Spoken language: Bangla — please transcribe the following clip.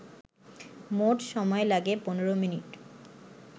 মোট সময় লাগে ১৫মিনিট